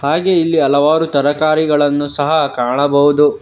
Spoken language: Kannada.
ಹಾಗೇ ಇಲ್ಲಿ ಹಲವಾರು ತರಕಾರಿಗಳನ್ನು ಸಹ ಕಾಣಬಹುದು.